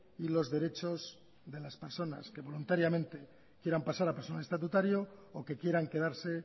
y los derechos de las personas que voluntariamente quieran pasar a personal estatutario o que quieran quedarse